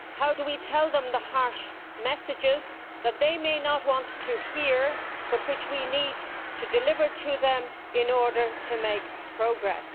How do we tell them the harsh messages that they may not want to hear, but which we need to deliver to them in order to make progress?